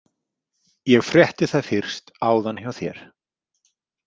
Ég frétti það fyrst áðan hjá þér.